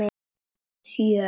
Sjö